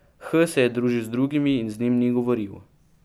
H se je družil z drugimi in z njim ni govoril.